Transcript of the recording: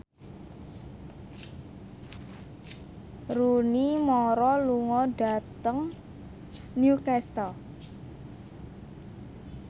Rooney Mara lunga dhateng Newcastle